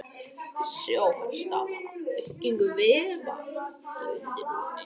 Þessi áferð stafar af byggingu vefja í undirhúðinni.